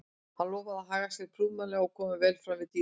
Hann lofaði að haga sér prúðmannlega og koma vel fram við dýrin.